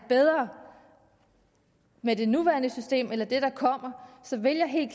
bedre med det nuværende system eller med det der kommer så vil jeg helt